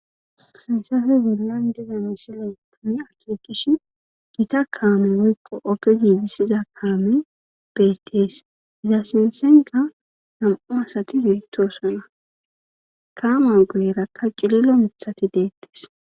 sinsafe gullan giza misile kami akeekish gita kaame woykqo oge giidisiza kaame beettees giza sinsenka nam7u masati yoyttosana kaama goyerakka qililo mithati deettes